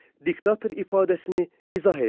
Diktator ifadəsini izah eləyin.